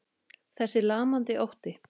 Þessi lamandi ótti.